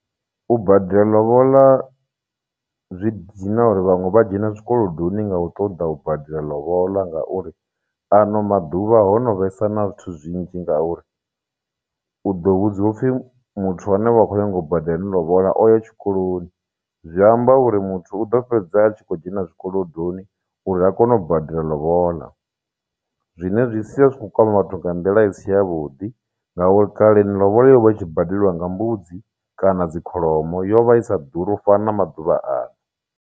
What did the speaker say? U badela lobola zwi dina uri vhanwe vha dzhena zwikolodoni nga u ṱoḓa u badela lobola ngauri ano maḓuvha ho no vhesa na zwithu zwinzhi ngauri u ḓo vhudziwa upfhi muthu ane vha khou nyanga u badela ene lobola o ya tshikoloni zwi amba uri muthu u ḓo fhedza vha tshi khou dzhena zwikolodoni uri a kone u badela lobola zwine zwi sia zwitshi kho kwama vhathu nga nḓila i si ya vhuḓi ngauri kale ni lobola yo vha itshi badeliwa nga mbudzi kana dzi kholomo yovha isa ḓuri ufana na maḓuvha ano.